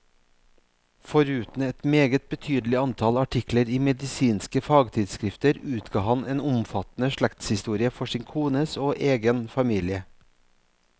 Foruten et meget betydelig antall artikler i medisinske fagtidsskrifter utga han en omfattende slektshistorie for sin kones og egen familie.